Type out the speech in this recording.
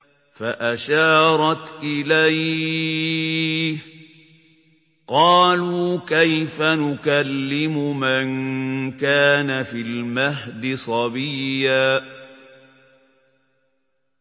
فَأَشَارَتْ إِلَيْهِ ۖ قَالُوا كَيْفَ نُكَلِّمُ مَن كَانَ فِي الْمَهْدِ صَبِيًّا